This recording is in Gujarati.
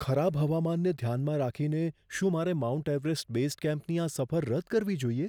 ખરાબ હવામાનને ધ્યાનમાં રાખીને, શું મારે માઉન્ટ એવરેસ્ટ બેઝ કેમ્પની આ સફર રદ કરવી જોઈએ?